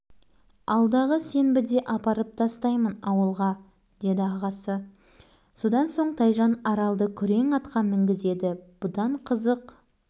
арал аулына қайтуға асықты ол оқуға ендігі жылы алынады ал қалаға кейін ағасы құсап үлкен болғанда